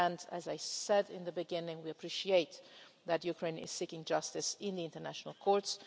As I said at the beginning, we appreciate that Ukraine is seeking justice in the international courts.